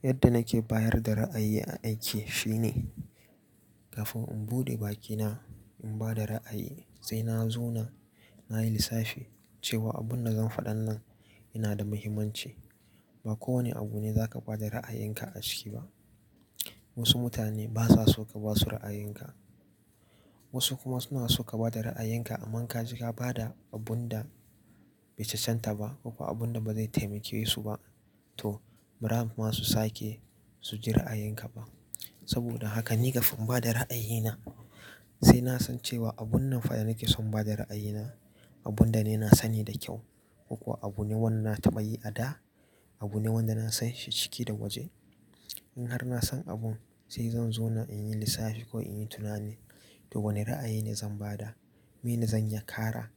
Yadda nake bayar da ra'ayi aiki shine, kafin in buɗe bakina in bada ra'ayi sai na zauna, na yi lissafi cewa abun da zan faɗa nan yana da muhimmanci. Ba kowane abu ne za ka bada ra'ayenka a ciki ba. Wasu mutane basa so ka basu ra'ayinka, wasu kuma suna so ka bada ra'ayinka amma ka shiga bada abun da bai cacanta ba ko kuwa abun da bazai taimake su ba. To, mara masu sake su ji ra'ayinka ba. Saboda haka ni kafin bada ra'ayina sai na san cewa abun nan fa da nake son bada ra'ayina, abun da ni na sani da kyau ko kuwa abu ne wanda na taba yi a da, abu ne wanda na san shi ciki da waje. In har na san abun sai zan zauna in yi lissafi ko in yi tunani, to wane ra'ayi ne zan bada, mene zan yakara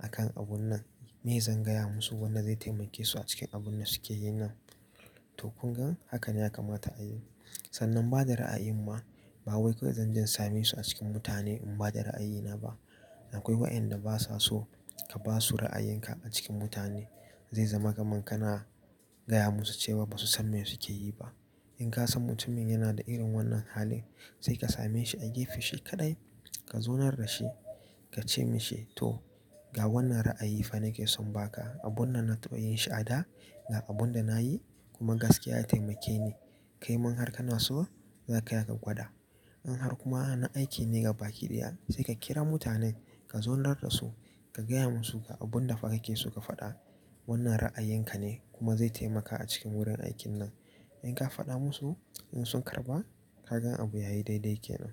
akan abun nan, mene zan gaya musu wanda zai taimake su a cikin abun da suke yi nan. To, kungan haka ne ya kamata a yi. Sannan bada ra'ayi ma, ba wai kawai zan jan same su a cikin mutane in bada ra'ayina ba. Akwai wa'inda basa so ka basu ra'ayinka a cikin mutane. Zai zama kamar kana gaya musu cewa basu san me suke yi ba. In ka san mutumin yana da irin wannan halin sai ka same shi a gefe shi kaɗai, ka zaunar da shi ka ce mishi "to, ga wannan ra'ayi fa nake son ba ka, abun nan na taba yi shi a da ga abun da na yi kuma gaskiya ya taimake ni. Kai mun har kana so, za ka iya ka gwada". In har kuma ana aiki ne gabaki daya sai ka kira mutanen ka zaunar da su ka gaya musu ga abun dafa kake so ka faɗa. Wannan ra'ayinka ne kuma zai taimaka a cikin wurin aikin nan. In ka faɗa musu, in sun karɓa ka gan abu yayi daidai kenan.